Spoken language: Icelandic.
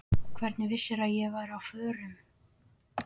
Hvernig vissirðu að ég væri á förum?